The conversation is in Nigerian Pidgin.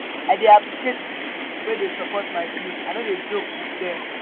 i dey appreciate pipo wey dey support my dreams i no dey joke wit dem.